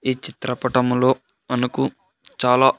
ఈ చిత్రపటంలో మనకు చాలా.